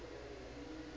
ephola